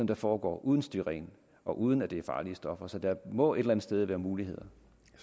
det foregår uden styren og uden at der bruges farlige stoffer så der må et eller andet sted være muligheder